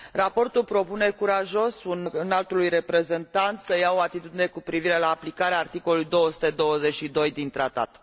Raportul propune curajos Înaltului Reprezentant să ia o atitudine cu privire la aplicarea articolului 222 din Tratat.